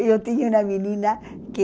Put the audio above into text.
Eu tinha uma menina que